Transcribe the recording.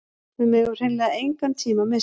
Við megum hreinlega engan tíma missa